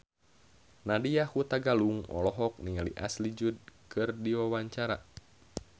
Nadya Hutagalung olohok ningali Ashley Judd keur diwawancara